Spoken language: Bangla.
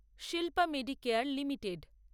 Shilpa medicare limited